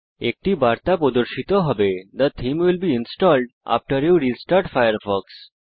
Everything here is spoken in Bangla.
একটি বার্তা প্রদর্শিত হবে যা হল the theme will be installed once you restart Firefox